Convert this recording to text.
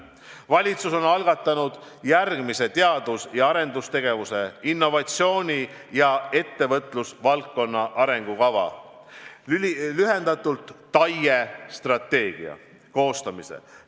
Valitsus on algatanud järgmise teadus- ja arendustegevuse, innovatsiooni ja ettevõtlusvaldkonna arengukava, TAIE strateegia koostamise.